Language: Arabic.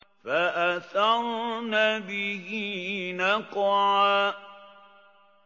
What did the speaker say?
فَأَثَرْنَ بِهِ نَقْعًا